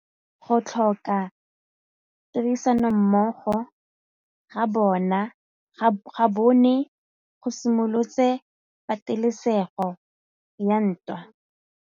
Go tlhoka tirsanommogo ga bone go simolotse patêlêsêgô ya ntwa.